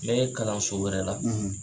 N bɛɛ kalanso wɛrɛ la.